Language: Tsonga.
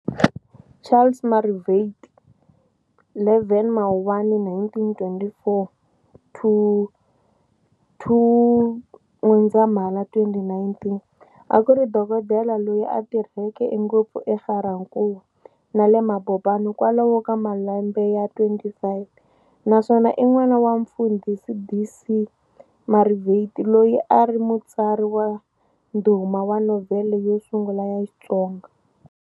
Charles Marivate, 11 Mawuwani 1924 - 02 N'wendzamhala 2019, akuri dokodela loyi a tirheke ngopfu eGarankuwa, na le Mabopane kwalomu ka malembe ya 25, naswona i n'wana wa mufundhisi D.C Marivate loyi a ari Mutsari wa ndhuma wa novhele yo sungula ya Xitsonga.